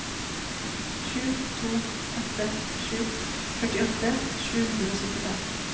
sju to åtte sju førtiåtte sju hundre og syttifem